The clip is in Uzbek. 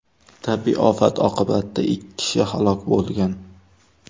Tabiiy ofat oqibatida ikki kishi halok bo‘lgan.